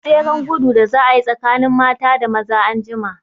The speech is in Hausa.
Akwai tseren gudu da za a yi tsakanin mata da maza anjima.